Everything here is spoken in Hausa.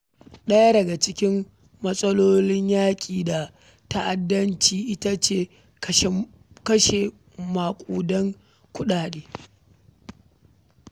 Ɗaya daga cikin matsalolin yaƙi da ta’addanci ita ce kashe maƙudan kuɗaɗe.